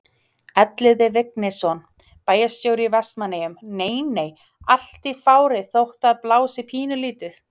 Elliði Vignisson, bæjarstjóri í Vestmannaeyjum: Nei nei, allt í fári þótt að blási pínulítið?